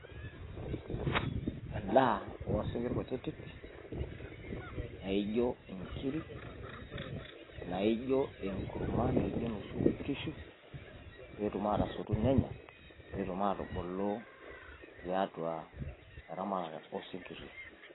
Endaa oo sinkirr kutitik naijo inkirik, naijo enkurma naijo enoshi oo nkishu, pee etum aatasotu nenya. Pee etum aatubulu tiatua eramatare o sinkirri.